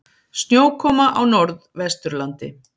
Snjókoma á Norðvesturlandi